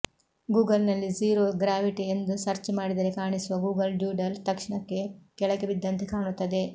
Google ನಲ್ಲಿ zero gravity ಎಂದು search ಮಾಡಿದರೇ ಕಾಣಿಸುವ ಗೂಗಲ್ ಡ್ಯೂಡಲ್ ತಕ್ಷಣಕ್ಕೆ ಕೆಳಗ ಬಿದ್ದಂತೆ ಕಾಣುತ್ತದೆ